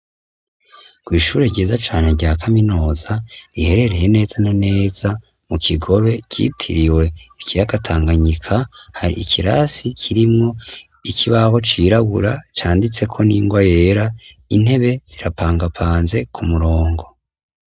Kw'ishure ryiza cane rya kaminuza riherereye neza na neza mu Kigobe, ryitiriwe ikiyaga Tanganyika, hari ikirasi kirimwo ikibaho cirabura canditseko n'ingwa yera, intebe zirapangapanze ku murongo.